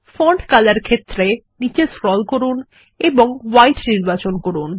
font colour ক্ষেত্রে নীচে scroll করুন এবং হোয়াইট নির্বাচন করুন